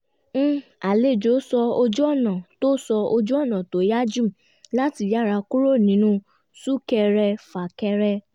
àlejò sọ ojú-ọ̀nà tó sọ ojú-ọ̀nà tó yá jù láti yára kúrò nínú sún-kẹrẹ-fà-kẹrẹ